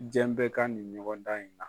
Diɲɛ bɛɛ ka nin ɲɔgɔn dan in na.